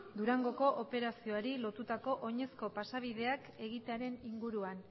durango operazioari lotutako oinezko pasabideak egitearen inguruan